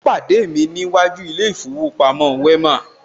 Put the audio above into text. Ó pàdé mi ní iwájú ilé ìfowópamọ́ Wema